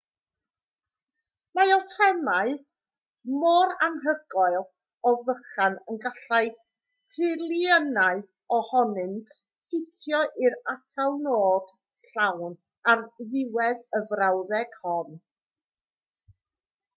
mae atomau mor anhygoel o fychan y gallai triliynau ohonynt ffitio i'r atalnod llawn ar ddiwedd y frawddeg hon